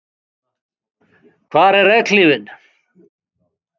Hvar er regnhlífin?